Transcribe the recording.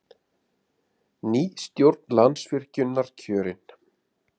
Ný stjórn Landsvirkjunar kjörin